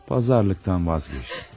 Pazarlıqdan vazgeçdim.